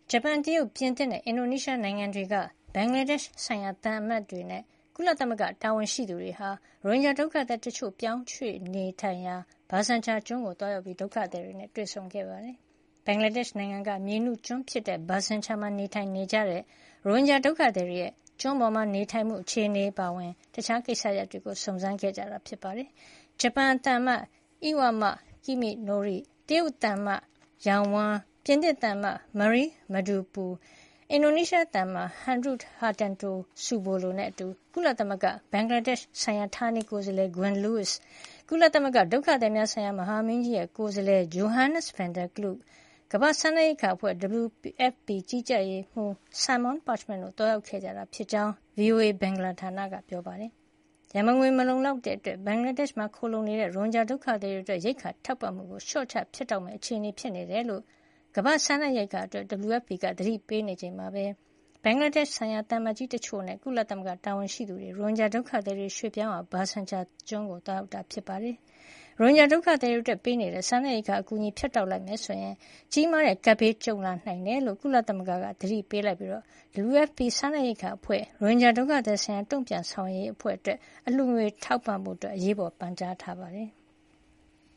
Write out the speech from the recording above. ဂျပန်၊ တရုတ်၊ ပြင်သစ်နဲ့ အင်ဒိုနီးရှား နိုင်ငံတို့က ဘင်္ဂလားဒေရှ့်ဆိုင်ရာ သံအမတ်တွေနဲ့ ကုလသမဂ္ဂ တာဝန်ရှိသူတွေ ရိုဟင်ဂျာ ဒုက္ခသည် တချို့ ပြောင်းရွှေ့အခြေချရာ Bhasanchar ဘာဆန်ချာကျွန်းကို သွားရောက်ပြီး ဒုက္ခသည်တွေနဲ့ တွေ့ဆုံခဲ့ပါတယ်။ ဘင်္ဂလားဒေရှ့် နိုင်ငံက မြေနုကျွန်း Bhasanchar မှာ နေထိုင်နေကြတဲ့ ရိုဟင်ဂျာဒုက္ခသည်တွေရဲ့ ကျွန်းပေါ် နေထိုင်ရမှု အခြေအနေ အပါအဝင် တခြားကိစ္စတွေကို စုံးစမ်းခဲ့ကြတာပါ။ ဂျပန်သံအမတ် Iwama Kiminori ၊ တရုတ်သံအမတ် Yao Wen, ပြင်သစ်သံအမတ် Marie Masdupui, အင်ဒိုနီးရှားသံအမတ် Heru Hartanto Subolo တို့နဲ့ အတူ ကုလသမဂ္ဂရဲ့ ဘင်္ဂလားဒေရှ့်ဆိုင်ရာ ဌာနေကိုယ်စားလှယ် Gwen Lweis, ကုလသမဂ္ဂ ဒုက္ခသည်များဆိုင်ရာ မဟာမင်းကြီးရဲ့ ကိုယ်စားလှယ် Johannes van der Klaue, ကမ္ဘာ့စားနပ်ရိက္ခာအဖွဲ့ WFP ကြီးကြပ်ရေးမှူး Simone Parchment တို့ သွားရောက်ခဲ့ကြတာဖြစ်ကြောင်း ဗွီအိုအေ ဘင်္ဂလားဌာနက ပြောပါတယ်။ ရန်ပုံငွေ မလုံလောက်မှုကြောင့် ဘင်္ဂလားဒေရှ့်မှာ ခိုလှုံနေကြတဲ့ ရိုဟင်ဂျာ ဒုက္ခသည်တွေအတွက် ရိက္ခာထောက်ပံ့မှုကို လျှော့ချ ဖြတ်တောက်ရမယ့် အခြေအနေဖြစ်နေကြောင်း ကမ္ဘာ့စားနပ်ရိက္ခာအဖွဲ့ WFP က သတိပေးထားချိန်မှာဘဲ ဘင်္ဂလားဒေရှ့်ဆိုင်ရာ သံအမတ်ကြီး တချို့နဲ့ ကုလသမဂ္ဂ တာဝန်ရှိသူတွေ ရိုဟင်ဂျာဒုက္ခသည် တချို့ ပြောင်းရွှေ့ထားရာ Bhasanchar ကျွန်းကို သွားရောက်တာလည်း ဖြစ်ပါတယ်။ ရိုဟင်ဂျာ ဒုက္ခသည်တွေအတွက် ပေးနေတဲ့ စားနပ်ရိက္ခာအကူအညီကို ဖြတ်တောက်လိုက်မယ်ဆိုရင် ကြီးမားတဲ့ ကပ်ဘေးကြုံလာရနိုင်တယ်လို့ ကုလသမဂ္ဂက သတိပေးလိုက်ပြီး WFP ကမ္ဘာ့စားနပ်ရိက္ခာအဖွဲ့ - ရိုဟင်ဂျာဒုက္ခသည်ဆိုင်ရာ တုံ့ပြန်ဆောင်ရွက်ရေးအတွက် အလှူငွေထောက်ပံ့ပေးဖို့ အရေးပေါ် ပန်ကြားထားပါတယ်။